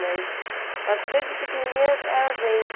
Mas eu acho que desde pequenininha é a gente.